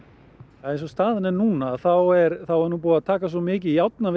eins og staðan er núna þá er er búið að taka svo mikið